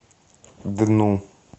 дну